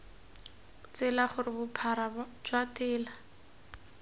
tsela gore bophara jwa tela